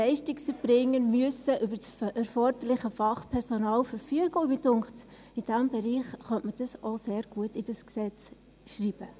Leistungserbringer müssen also über das erforderliche Fachpersonal verfügen, und mich dünkt, in diesem Bereich könne man das sehr gut ins Gesetz schreiben.